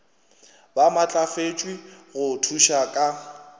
ba maatlafatšwe go thuša ka